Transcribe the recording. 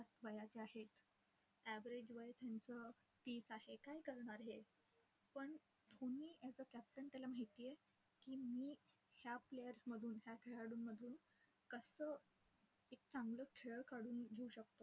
वयाचे आहेत. Average वय त्यांचं तीस आहे. काय करणार हे, पण धोनी as a captain त्याला माहितीय की मी या players मधून, या खेळाडूंमधून कसं एक चांगलं खेळ काढून घेऊ शकतो.